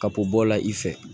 Ka bɔ bɔ o la i fɛ